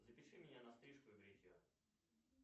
запиши меня на стрижку и бритье